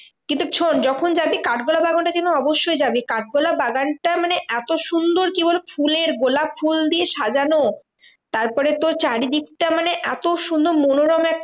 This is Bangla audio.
কিন্তু শোন্ যখন যাবি কাঠগোলা বাগানটা যেন অবশ্যই যাবি। কাঠগোলা বাগানটা মানে এত সুন্দর কি বলবো? ফুলের গোলাপ ফুল দিয়ে সাজানো তারপরে তোর চারদিকটা মানে এত সুন্দর মনোরম একটা